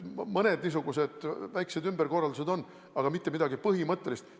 Mõned niisugused väiksed ümberkorraldused on, aga mitte midagi põhimõttelist.